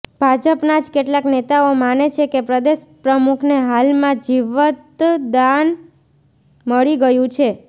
ભાજપના જ કેટલાક નેતાઓ માને છે કે પ્રદેશપ્રમુખને હાલમાં જીવતદાન મળી ગયું છે